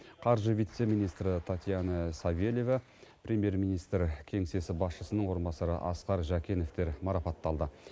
қаржы вице министрі татьяна савельева премьер министр кеңсесі басшысының орынбасары асқар жәкенов марапатталды